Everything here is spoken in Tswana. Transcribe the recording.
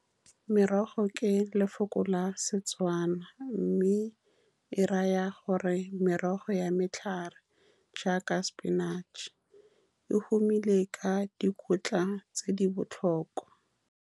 Merogo ke lefoko la Setswana e raya gore merogo ya matlhare, jaaka sepinatšhe. O humile ka dikotla tse di botlhokwa.